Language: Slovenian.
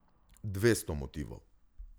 Dvesto motivov.